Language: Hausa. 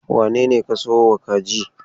Wane ne ka sayo ma kaji?